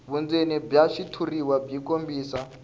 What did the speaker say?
vundzeni bya xitshuriwa byi kombisa